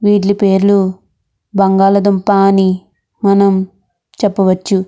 వీడి పేర్లు బంగాళదుంప అని మనం చెప్పవచ్చు.